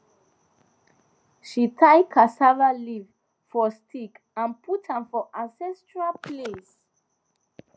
she tie cassava leaf for stick and put am for ancestral place